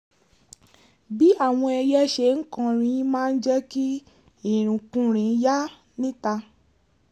bí àwọn ẹyẹ ṣe ń kọrin máa ń jẹ́ kí ìrìnkúrìn yá níta